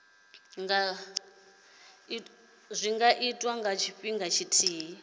nga itwa nga tshifhinga tshithihi